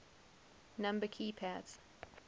number key pads